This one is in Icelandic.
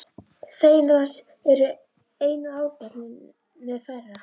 Feginn að það er einu áhyggjuefninu færra.